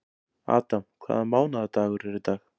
Adam, hvaða mánaðardagur er í dag?